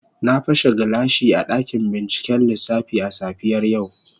Na pashe gilashi a dakin binciken lissafi a safiyar yau.